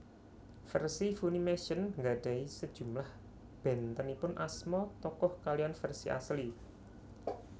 Versi Funimation nggadahi sejumlah bentenipun asma tokoh kaliyan versi asli